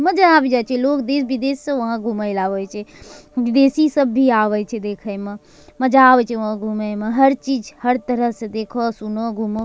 मजा आबी जाए छे लोग देश-विदेश से वहां घूमेल आवे छे विदेशी सब भी आवे छे देखे म मजा आवे छे वहाँ घूमे म हर चीज हर तरह से देखो सुनो घूमो।